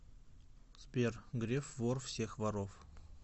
сбер греф вор всех воров